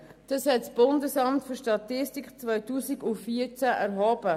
Dies hat das Bundesamt für Statistik (BFS) im Jahr 2014 erhoben.